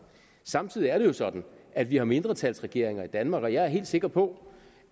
samtidig er det jo sådan at vi har mindretalsregeringer i danmark og jeg er helt sikker på